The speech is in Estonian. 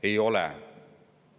Ei ole.